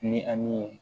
Ni ani